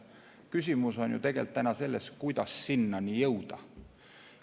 Küsimus on tegelikult selles, kuidas sinnani jõuda.